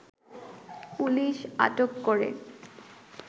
police আটক করে